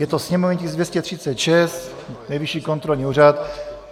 Je to sněmovní tisk 236, Nejvyšší kontrolní úřad.